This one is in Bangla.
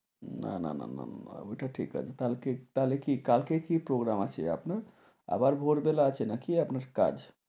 না না না না না না ঐটা ঠিক আছে। কালকে তাহলে কি কালকে কী program আছে আপনার? আপনার ভোরবেলা আছে নাকি আপনার কাজ?